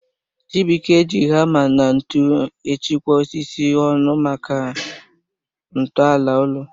Chibuike ji hama na ntụ echekwa osisi ọnụ maka nto ala ulo